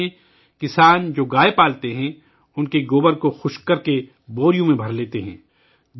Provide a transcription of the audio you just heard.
اسپیتی میں، کسان جو گائے پالتے ہیں ، ان کے گوبر کو خشک کرکے بوریوں میں بھرتے ہیں